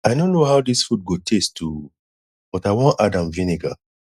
i no know how dis food go taste oo but i wan add am vinegar